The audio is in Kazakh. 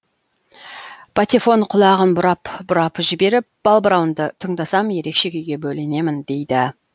патефон құлағын бұрап бұрап жіберіп балбырауынды тыңдасам ерекше күйге бөленемін дейді